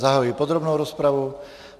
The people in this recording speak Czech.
Zahajuji podrobnou rozpravu.